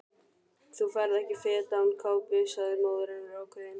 Þú ferð ekki fet án kápu sagði móðir hennar ákveðin.